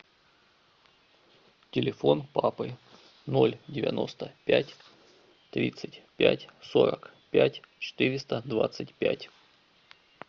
телефон папы ноль девяносто пять тридцать пять сорок пять четыреста двадцать пять